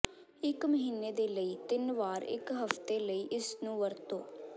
ਇੱਕ ਮਹੀਨੇ ਦੇ ਲਈ ਤਿੰਨ ਵਾਰ ਇੱਕ ਹਫ਼ਤੇ ਲਈ ਇਸ ਨੂੰ ਵਰਤੋ